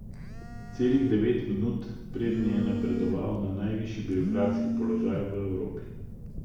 Celih devet minut, preden je napredoval na najvišji birokratski položaj v Evropi.